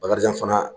Bakarijan fana